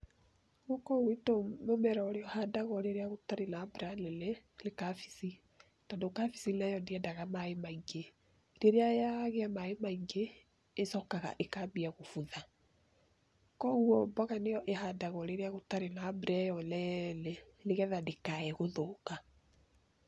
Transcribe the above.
Gũkũ gwitũ mũmera ũrĩa ũhandagwo rĩrĩa gũtarĩ na mbura nene nĩ cabici, tondũ cabici nayo ndĩendaga maĩ maingĩ rĩrĩa yagĩa maĩ maingĩ ĩcoka ĩkambia kũbutha, kwoguo mboga nĩyo ĩhandagwo rĩrĩa gũtari na mbura ĩyo nene nĩgetha ndĩkae gũthũka.